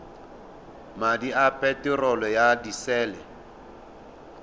madi a peterolo ya disele